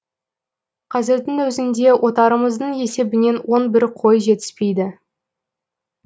қазірдің өзіңде отарымыздың есебінен он бір қой жетіспейді